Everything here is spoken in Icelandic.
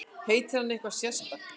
Heitir hann eitthvað sérstakt?